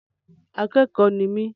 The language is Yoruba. Akẹ́kọ̀ọ́ ni mí.